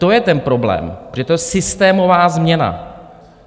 To je ten problém, protože to je systémová změna.